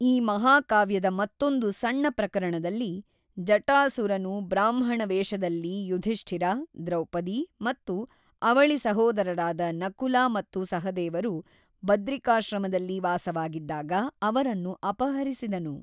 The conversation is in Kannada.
ಈ ಮಹಾಕಾವ್ಯದ ಮತ್ತೊಂದು ಸಣ್ಣ ಪ್ರಕರಣದಲ್ಲಿ, ಜಟಾಸುರನು ಬ್ರಾಹ್ಮಣ ವೇಷದಲ್ಲಿ ಯುಧಿಷ್ಠಿರ, ದ್ರೌಪದಿ ಮತ್ತು ಅವಳಿ ಸಹೋದರರಾದ ನಕುಲ ಮತ್ತು ಸಹದೇವರು ಬದ್ರಿಕಾಶ್ರಮದಲ್ಲಿ ವಾಸವಾಗಿದ್ದಾಗ ಅವರನ್ನು ಅಪಹರಿಸಿದನು.